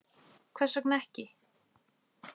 Hvers vegna ekki?